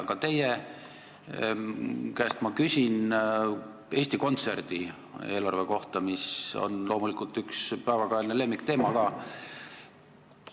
Aga teie käest ma küsin Eesti Kontserdi eelarve kohta, mis on loomulikult üks päevakajalisi lemmikteemasid.